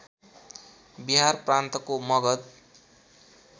बिहार प्रान्तको मगध